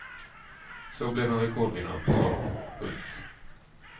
Så blev han rekordvinnare på trav. punkt